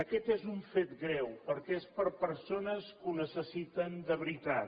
aquest és un fet greu perquè és per a persones que ho necessiten de veritat